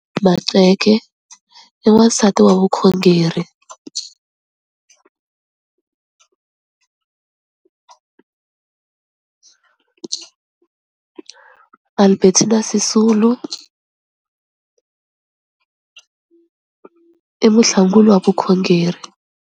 Maqceke i wansati wa vukhongeri, Albertina Sisulu i muahlanguli wa vukhongeri.